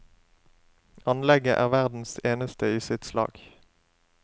Anlegget er verdens eneste i sitt slag.